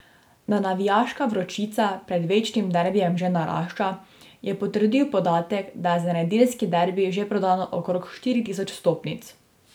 Da navijaška vročica pred večnim derbijem že narašča, je potrdil podatek, da je za nedeljski derbi že prodano okrog štiri tisoč vstopnic.